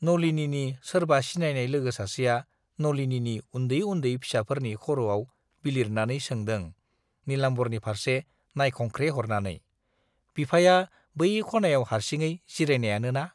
नलिनीनि सोरबा सिनायनाय लोगो सासेआ नलिनीनि उन्दै उन्दै फिसाफोरनि खर'आव बिलिरनानै सोंदों नीलाम्बरनि फार्से नाइखंख्रेहरनानै, बिफाया बै खनायाव हार्सिङै जिरायनायानो ना?